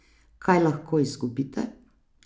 Kaj lahko izgubite?